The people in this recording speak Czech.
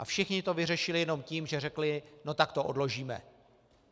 A všichni to vyřešili jenom tím, že řekli no tak to odložíme.